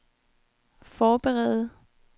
forberede